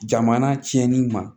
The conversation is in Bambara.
Jamana tiɲɛni ma